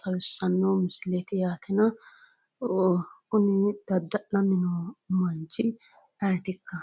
xawissanno misileeti yaatena kuni dadda'lanni noo manchi ayeetikka?